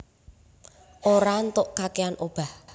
Ora ntok kakèan obah